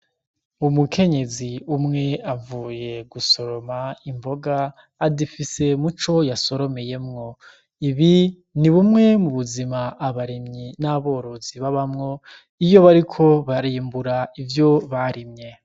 Umukenyezi umwe avuye gusoroma imboga azifise mu co yasoromeyemwo ibi ni bumwe mu buzima abarimyi n'aborozi babamwo iyo bariko barimbura ivyo barimye.